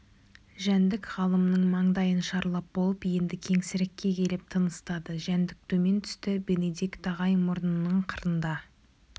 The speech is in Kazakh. жәндік ғалымның маңдайын шарлап болып енді кеңсірікке келіп тыныстады жәндік төмен түсті бенедикт ағай мұрнының қырында